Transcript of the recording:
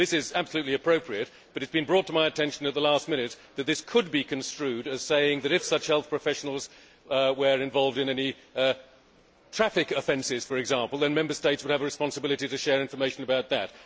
This is absolutely appropriate, but it has been brought to my attention at the last minute that this could be construed as saying that if such health professionals were involved in any traffic offences, for example, then Member States would have a responsibility to share information about that.